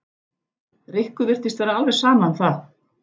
Rikku virtist vera alveg sama um það.